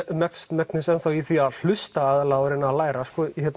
mest megnis í því að hlusta og reyna að læra